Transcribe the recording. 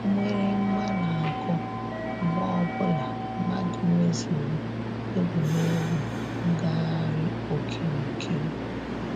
Mgbịrịgba na-akụ mgbe ọbụla mmadụ mezuru egwuregwu ngagharị okirikiri.